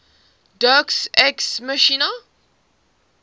deus ex machina